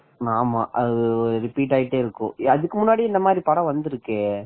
ஆமா அது ரிப்பீட் ஆயிட்டே இருக்கு இதுக்கு முன்னாடி இந்த மாதிரி படம் வந்துருக்கே